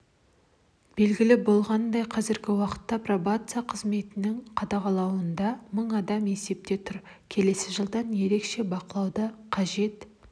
белгілі болғанындай қазіргі уақытта пробация қызметінің қадағалауында мың адам есепте тұр келесі жылдан ерекше бақылауды қажет